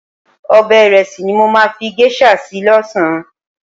Ọbẹ̀ ìrẹsì ni mo máa fi géṣà sè lọ́sàn-án.